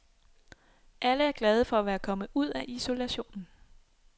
Alle er glade for at være kommet ud af isolationen.